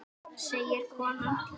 segir konan.